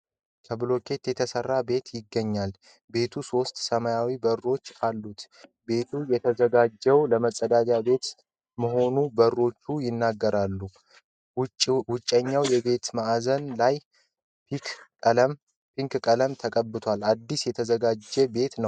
ከብሎኬት የተሰራ ቤት ይገኛል። ቤቱ ሥስት ሰማያዊ በሮች አሉት። ቤቱ የተዘጋጀዉ ለመፀዳጃ ቤት መሆኑ በሮቹ ይናገራሉ። ዉጨኛዉ የቤቱ ማዕዘን ላይ ፒክ ቀለም ተቀብቷል። አዲስ የተዘጋጀ ቤት ነዉ።